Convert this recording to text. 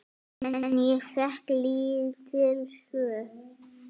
En ég fékk lítil svör.